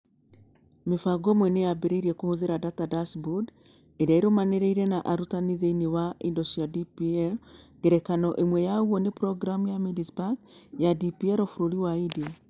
Mĩbango ĩmwe nĩ yambĩrĩirie kũhũthĩra data dashboard iria irũmanĩrĩire na arutani thĩinĩ wa indo cia DPL. Ngerekano ĩmwe ya ũguo nĩ programu ya Mindspark ya DPL bũrũri-inĩ wa India.